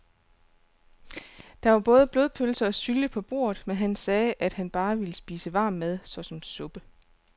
Der var både blodpølse og sylte på bordet, men han sagde, at han bare ville spise varm mad såsom suppe.